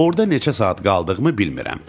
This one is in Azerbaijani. Orda neçə saat qaldığımı bilmirəm.